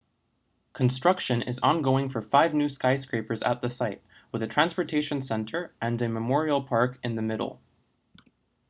construction is ongoing for five new skyscrapers at the site with a transportation center and memorial park in the middle